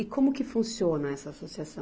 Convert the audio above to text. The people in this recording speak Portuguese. E como que funciona essa associação?